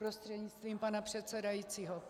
Prostřednictvím pana předsedajícího.